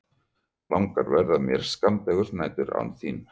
Langar verða mér skammdegisnæturnar án þín.